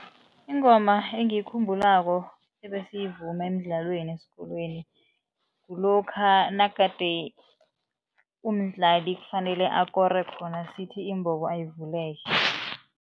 Ingoma engiyikhumbulako ebesiyivuma emidlalweni esikolweni kulokha nagade umdlali kufanele amakoro khona sithi imbobo ayivuleke.